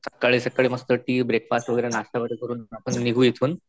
सकाळी सकाळी मस्त टी, ब्रेकफास्ट वगैरे, नाश्ता वगैरे करून आपण निघू इथून